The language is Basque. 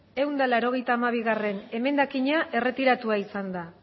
ehun eta laurogeita hamabigarrena emendakina erretiratua izan da